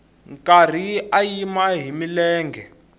karhi a yima hi milenge